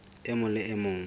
e mong le e mong